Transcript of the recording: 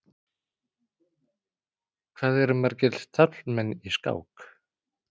Hvað eru margir taflmenn í skák?